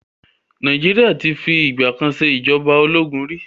Nàìjíríà ti fi ìgbà kan ṣe ìjọba ológun ri.